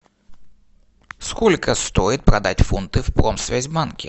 сколько стоит продать фунты в промсвязьбанке